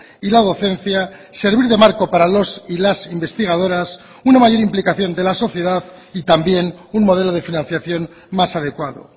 y la docencia servir de marco para los y las investigadoras una mayor implicación de la sociedad y también un modelo de financiación más adecuado